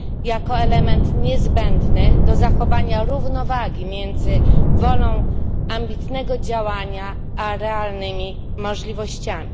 jako element niezbędny do zachowania równowagi między wolą ambitnego działania a realnymi możliwościami.